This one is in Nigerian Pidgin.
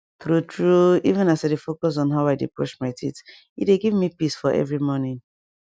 true true even as i dey focus on how i dey brush my teeth e dey give me peace for every morning